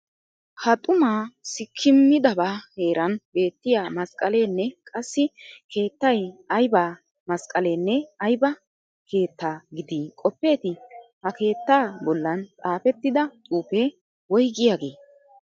Ha xumaa sikkimmidabaa heeran beettiya masqqaleenne qassi keettay ayba masqqalenne ayba keetta giidi qoppeetii? Ha keettaa bollan xaafettida xuufee woygiyagee?